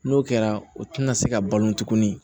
N'o kɛra o tɛna se ka balo tuguni